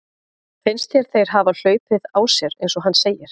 Finnst þér þeir hafa hlaupið á sér eins og hann segir?